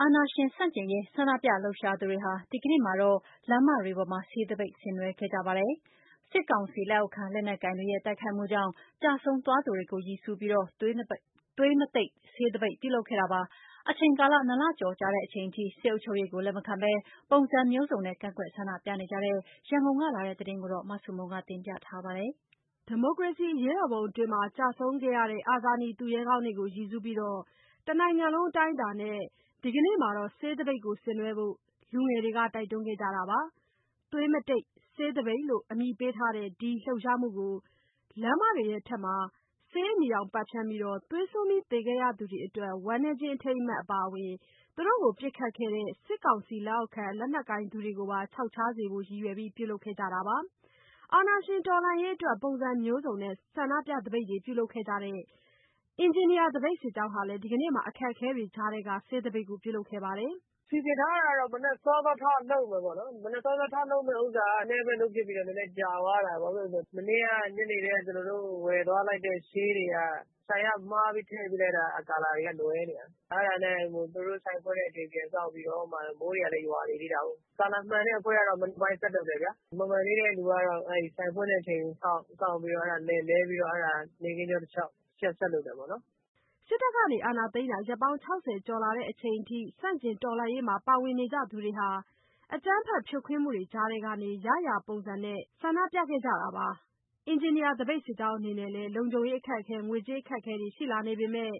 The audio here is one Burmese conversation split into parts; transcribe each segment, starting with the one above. အာဏာရှင်ဆန့်ကျင်ရေး ဆန္ဒပြလှုပ်ရှားသူတွေဟာ ဒီကနေ့မှာတော့ လမ်းမတွေပေါ်မှာ ဆေးသပိတ်ကို ဆင်နွှဲခဲ့ကြပါတယ်။ စစ်ကောင်စီလက်အောက်ခံ လက်နက်ကိုင်တွေရဲ့ တိုက်ခိုက်မှုကြောင့် ကျဆုံးသွားသူတွေကို ရည်စူးပြီး သွေးမတိတ် ဆေးသပိတ်ကို ပြုလုပ်ခဲ့တာပါ။ အချိန်ကာလ ၂ လကျော်လာချိန်အထိ စစ်အုပ်ချုပ်ရေးကို လက်မခံဘဲ ပုံစံမျိုးစုံနဲ့ ကန့်ကွက်ဆန္ဒပြနေကြတဲ့ ရန်ကုန်က လာတဲ့သတင်းကိုတော့ မဆုမွန်က တင်ပြပေးပါမယ်။ ဒီမိုကရေစီ အရေးတော်ပုံအတွင်း ကျဆုံးခဲ့ကြတဲ့ အာဇာနည်သူရဲကောင်းတွေကို ရည်စူးပြီး တနိုင်ငံလုံးအတိုင်းအတာနဲ့ ဒီကနေ့မှာ ဆေးသပိတ်ကိုဆင်နွှဲဖို့ လူငယ်တွေက တိုက်တွန်းခဲ့ကြတာပါ။ သွေးမတိတ် ဆေးသပိတ်လို့ အမည်ပေးထားတဲ့ ဒီလှုပ်ရှားမှုကို လမ်းမတွေပေါ်မှာ ဆေးအနီရောင် ပက်ဖျန်းပြီး သွေးစွန်းပြီး သေခဲ့ရသူတွေအတွက် ဝမ်းနည်းခြင်းအထိမ်းအမှတ် အပါအဝင် သူတို့ကို ပစ်ခတ်ခဲ့ကြတဲ့ စစ်ကောင်စီလက်အောက်ခံ လက်နက်ကိုင်သူတွေပါ ခြောက်ခြားစေဖို့ ရည်ရွယ်ပြီး ပြုလုပ်ခဲ့တာပါ။ အာဏာရှင်တော်လှန်ရေးအတွက် ပုံစံမျိုးစုံနဲ့ ဆန္ဒပြသပိတ်တွေ ပြုလုပ်နေကြတဲ့ အင်ဂျင်နီယာသပိတ်စစ်ကြောင်းဟာလည်း ဒီကနေ့မှာ အခက်အခဲတွေကြားထဲက ဆေးသပိတ်ကို ပြုလုပ်ခဲ့ပါတယ်။ "စီစဉ်ထားတာကတော့ မနက်စောစော ထလုပ်မယ်ပေါ့နော်။ မနက်စောစောလုပ်မှာက နည်းနည်းပဲလုပ်ဖြစ်ပြီး ကြာသွားတာ ဘာဖြစ်လို့လဲဆိုတော့ မနေ့က ညနေကတည်းက ကျနော်တို့ဝယ်သွားလိုက်တဲ့ ဆေးတွေက၊ ဆိုင်က မှားပြီး ထည့်ပေးလိုက်တာ အရောင်တွေက လွဲနေတာ။ အဲဒါနဲ့ သူတို့ဆိုင်ဖွင့်တဲ့အချိန်အထိ ပြန်စောင့်ပြီးတော့မှ မိုးတွေကလည်း ရွာနေသေးတာကို။ ဆေးအရောင်မှန်တဲ့ အဖွဲ့ကတော့ မနက်ပိုင်း ဆက်လုပ်တယ်ဗျာ။ မမှန်သေးတဲ့ သူတွေကတော့ အဲဒီဆိုင်ဖွင့်တဲ့ အချိန်ကိုစောင့်ပြီးတော့ လဲပြီးတော့မှ နေ့ခင်းကြောတလျှောက် တချက်ဆက်လုပ်တယ်ပေါ့နော်။" စစ်တပ်က အာဏာသိမ်းတာ ရက်ပေါင်း ၆၀ ကျော်လာချိန်အထိ ဆန့်ကျင်တော်လှန်ရေးမှာ ပါဝင်နေကြသူတွေဟာ အကြမ်းဖက်ဖြိုခွဲမှုတွေကြားကနေ ရရာပုံစံနဲ့ ဆန္ဒပြနေကြတာပါ။ အင်ဂျင်နီယာသပိတ် စစ်ကြောင်းအနေနဲ့လည်း လုံခြုံရေးအခက်အခဲ၊ ငွေကြေးအခက်အခဲတွေ ရှိလာနေပေမဲ့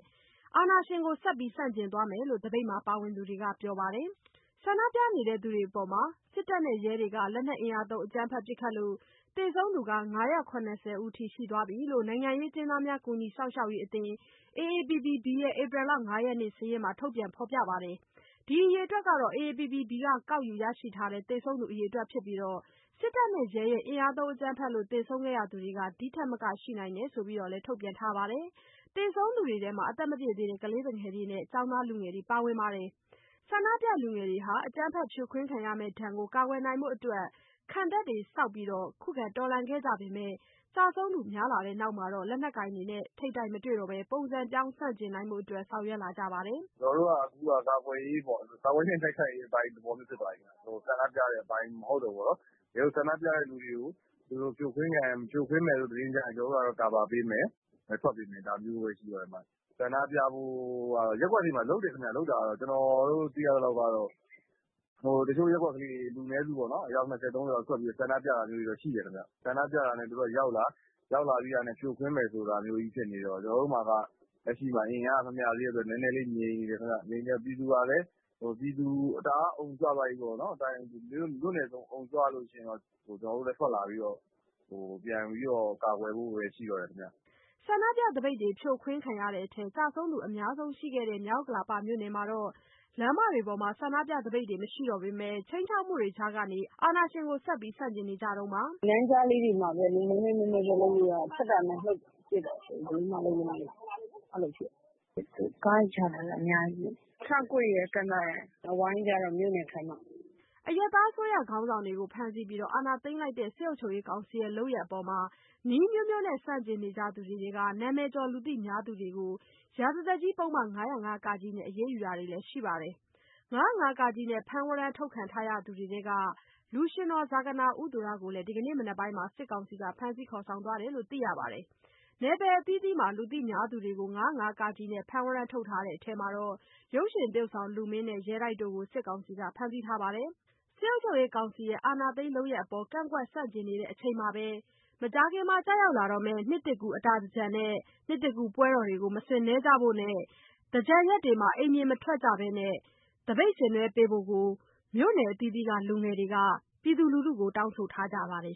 အာဏာရှင်ကို ဆက်ပြီးဆန့်ကျင်သွားမယ်လို့ သပိတ်မှာပါဝင်သူတွေက ပြောပါတယ်။ ဆန္ဒပြသူတွေအပေါ်စစ်တပ်နဲ့ရဲတွေက လက်နက်တွေသုံး အကြမ်းဖက်ပစ်ခတ်လို့ သေဆုံးသူ ၅၇၀ ဦးရှိသွားပြီလို့ နိုင်ငံရေးအကျဉ်းသားများ ကူညီစောင့်ရှောက်ရေးအသင်း AAPPB ရဲ့ ဧပြီလ ၅ရက်အထိ စာရင်းမှာ ဖော်ပြထားပါတယ်။ ဒီအရေအတွက်ဟာ AAPPB က ကောက်ယူရရှိထားတဲ့ သေဆုံးသူအရေအတွက် ဖြစ်ပြီး၊ စစ်တပ်နဲ့ရဲတွေရဲ့ အင်အားသုံးအကြမ်းဖက်လို့ သေဆုံးခဲ့ရသူတွေဟာ ဒီထက်မက ရှိနိုင်တယ်လို့လည်း ထုတ်ပြန်ထားပါတယ်။ သေဆုံးသူတွေထဲမှာ ကလေးသူငယ်တွေနဲ့ ကျောင်းသားလူငယ်တွေလည်း ပါဝင်နေပါတယ်။ ဆန္ဒပြလူငယ်တွေဟာ အကြမ်းဖက်ဖြိုခွဲခံရမယ့်ဒဏ်ကို ကာကွယ်နိုင်ဖို့အတွက် ခံတပ်တွေဆောက်ပြီး ခုခံတော်လှန်ခဲ့ကြပေမဲ့ ကျဆုံး သူများလာတဲ့နောက်မှာတော့ လက်နက်ကိုင်တွေနဲ့ ထိပ်တိုက်မတွေ့တော့ဘဲ ပုံစံပြောင်းဆန့်ကျင်နိုင်ဖို့အတွက် ဆောင်ရွက်လာကြပါတယ်။ "ကျနော်တို့ အခုက ကာကွယ်ရေးနဲ့ တိုက်ခိုက်ရေးအပိုင်း ဖြစ်သွားပြီဗျ။ ဆန္ဒပြတဲ့အပိုင်း မဟုတ်တော့ဘူးပေါ့နော်။ တကယ်လို့ ဆန္ဒပြတဲ့သူတွေကို သူတို့ဖြိုခွဲမယ်ဆိုတဲ့ သတင်းကြားရင် ကျနော်တို့ ကာကွယ်ပေးမယ်၊ ထွက်ပေးမယ်... ဒါမျိုးပဲရှိတော့မယ်။ ရပ်ကွက်တွေထဲမှာ ဆန္ဒပြတာတွေကတော့ လုပ်တယ်ခင်ဗျ။ ကျနော်တို့ သိရသလောက်တော့ တချို့ရပ်ကွက်တွေ လူနည်းစုပေါ့နော်၊ အယောက် ၂၀ - ၃၀ လောက် ထွက်ပြီးတော့ ဆန္ဒပြတာတော့ ရှိတယ်ခင်ဗျ။ ဆန္ဒပြတာနဲ့ သူတို့ကရောက်လာ၊ ရောက်လာတာနဲ့ ဖြိုခွဲမယ်ဆိုတာမျိုးကြီး ဖြစ်နေတော့ ကျနော်တို့မှာက လက်ရှိမှာ အင်အားက မမျှသေးတဲ့အတွက် နည်းနည်းလေး ငြိမ်နေတယ်ခင်ဗျ။ ငြိမ်နေတော့ ပြည်သူကလည်း မြို့နယ်စုံအုံကြွလို့ ရှိရင်တော့ ကျနော်တို့လည်း ထွက်လာပြီးတော့ ပြန်ပြီးတော့ ကာကွယ်ဖို့ပဲ ရှိတော့တယ်ခင်ဗျ။" ဆန္ဒပြသပိတ်တွေ ဖြိုခွဲခံရတဲ့အထဲ ကျဆုံးသူအများဆုံးရှိခဲ့တဲ့ မြောက်ဥက္ကလာမြို့နယ်မှာတော့ လမ်းမတွေပေါ်မှာ ဆန္ဒပြသပိတ်တွေမရှိတော့ပေမဲ့ ခြိမ်းခြောက်မှုတွေကြားထဲကနေ အာဏာရှင်ကို ဆန့်ကျင်နေကြတုန်းပါ။ "လမ်းကြားထဲတွေမှာပဲ နည်းနည်းချင်းလုပ်လို့ရတာ။ ထွက်တာနဲ့ပစ်တာဆိုတော့ ဘယ်သူမှလမ်းပေါ်မရောက်ဘူး ဖြစ်နေတာ။ သူတို့ကားတွေ ချထားတာလည်း အများကြီးပဲ။ ခြောက်ကွေ့ရယ်၊ ကန်သာယာရယ်၊ အဝိုင်းကျတော့ မြို့နယ်ခန်းမမှာ။" အရပ်သားအစိုးရ ခေါင်းဆောင်တွေကို ဖမ်းဆီးပြီး အာဏာသိမ်းထားတဲ့ စစ်ကောင်စီရဲ့ လုပ်ရပ်တွေအပေါ်နည်းအမျိုးမျိုးနဲ့ ဆန့်ကျင်နေသူတွေထဲက နာမည်ကျော် လူသိများသူတွေကို ရာဇသတ်ကြီးဥပဒေ ပုဒ်မ ၅၀၅ နဲ့ အရေးယူတာတွေလည်း ရှိလာပါတယ်။ ၅၀၅ နဲ့ ဖမ်းဝရမ်းထုတ်ခံထားရသူတွေထဲကလူရွှင်တော် ဇာဂနာ ဦးသူရကိုလည်း ဒီကနေ့ မနက်ပိုင်းမှာ စစ်ကောင်စီကဖမ်းဆီး ခေါ်ဆောင်သွားတယ်လို့ သိရပါတယ်။ နယ်ပယ်အသီးသီးမှာ လူသိများသူတွေကို ၅၀၅ နဲ့ ဖမ်းဝရမ်းထုတ်ထားတဲ့အထဲ ရုပ်ရှင်သရုပ်ဆောင် လူမင်းနဲ့ ရဲတိုက်တို့ကိုလည်း စစ်ကောင်စီက ဖမ်းဆီးထားပါတယ်။ စစ်ကောင်စီရဲ့ အာဏာသိမ်းတဲ့လုပ်ရပ်အပေါ်ကန့်ကွက်ဆန့်ကျင်နေတဲ့အချိန်မှာဘဲ မကြာခင် ရောက်လာတော့မယ့် အတာသင်္ကြန်နဲ့ နှစ်သစ်ကူးပွဲတော်ကိုလည်း မဆင်နွှဲဖို့နဲ့ သင်္ကြန်ရက်တွေမှာ အိမ်ပြင်မထွက်ဘဲ သပိတ်ဆင်နွှဲပေးဖို့ကို မြို့နယ်အသီးသီးက လူငယ်တွေက တောင်းဆိုထားကြပါတယ်